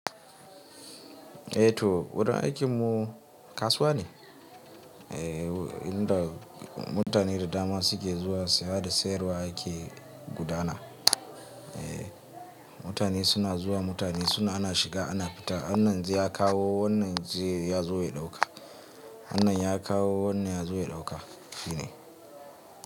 Ehh toh wurin aikin mu kasuwa ne Eh inda mutane da dama suke zuwa saya da siyarwa yake gudana. Ehh mutane suna zuwa, mutane suna ana shiga, ana fita, wannan jiya ya kawo, wannan ya zo ya ɗauka. Wannan ya kawo wannan ya zo ya ɗauka shine.